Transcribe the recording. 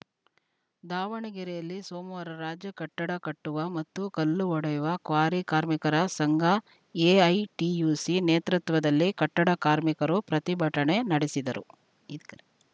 ದಾವಣಗೆರೆಯಲ್ಲಿ ಸೋಮವಾರ ರಾಜ್ಯ ಕಟ್ಟಡ ಕಟ್ಟುವ ಮತ್ತು ಕಲ್ಲು ಒಡೆಯುವ ಕ್ವಾರಿ ಕಾರ್ಮಿಕರ ಸಂಘ ಎಐಟಿಯುಸಿ ನೇತೃತ್ವದಲ್ಲಿ ಕಟ್ಟಡ ಕಾರ್ಮಿಕರು ಪ್ರತಿಭಟನೆ ನಡೆಸಿದರು ಇದ್ ಕ್ರ